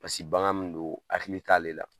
Paseke bagan min don hakili t'ale la